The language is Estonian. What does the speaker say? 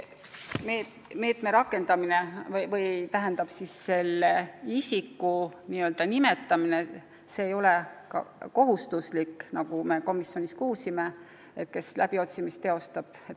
Mis puutub nende meetmete rakendamisse, siis pole kohustuslik nimetada isikud, kes läbiotsimist teostavad.